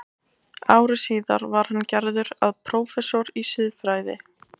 Ári síðar var hann gerður að prófessor í siðfræði.